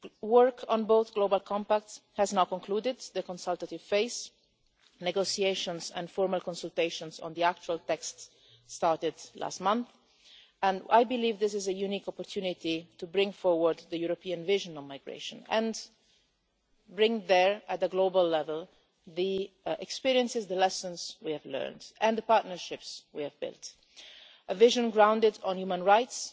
Work on both Global Compacts has now concluded on the consultative phase, and negotiations and formal consultations on the actual text started last month. I believe this is a unique opportunity to bring forward the European vision on migration and bring there, at the global level, the experiences, the lessons, we have learned and the partnerships we have built. It is a vision grounded on human rights,